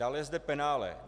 Dále je zde penále.